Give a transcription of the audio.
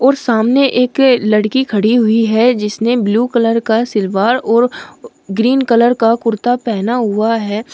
और सामने एक लड़की खड़ी हुई है जिसने ब्लू कलर का सिलवार और ग्रीन कलर का कुर्ता पहना हुआ है।